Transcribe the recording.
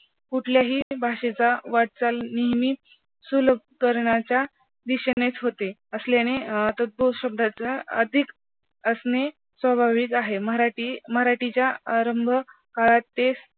कुठल्याही भाषेचा वाटचाल नेहमीच सुलूक करण्याच्या दिशेनेच होते असल्याने अं शब्दाच्या अधिक असणे स्वाभाविक आहे. मराठी मराठीच्या आरंभकाळात तेच